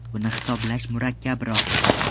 Buni hisoblash murakkabroq”.